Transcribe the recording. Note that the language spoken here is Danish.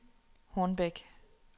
Hornbæk